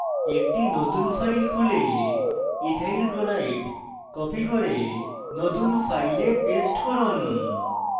একটি নতুন file খুলে ethyl chloride copy করে নতুন file paste করুন